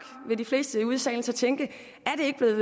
vil de fleste ude i salen så tænke